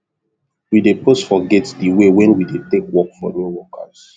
we dey post for gate the way wen we dey take work for new workers